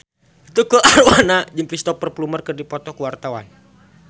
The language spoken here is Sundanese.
Tukul Arwana jeung Cristhoper Plumer keur dipoto ku wartawan